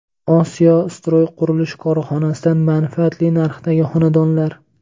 Osiyo Stroy qurilish korxonasidan manfaatli narxdagi xonadonlar.